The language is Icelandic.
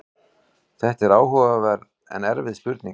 Þetta er áhugaverð en erfið spurning.